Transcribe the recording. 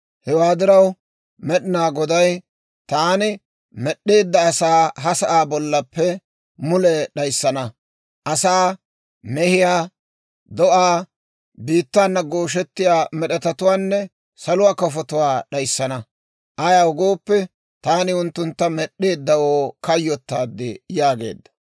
Hewaa diraw Med'inaa Goday, «Taani med'd'eedda asaa ha sa'aa bollappe mule d'ayssana; asaa, mehiyaa, do'aa, biittaana gooshettiyaa med'etatuwaanne saluwaa kafotuwaa d'ayssana; ayaw gooppe, taani unttuntta med'd'eeddawoo kayyottaad» yaageedda.